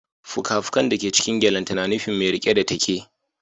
Fuka-fukan da ke cikin gyalenta na nufin mai rike da take